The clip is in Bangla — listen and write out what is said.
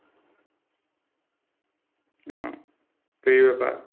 ও তো এই ব্যাপার?